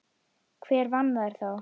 Hver vann þær þá?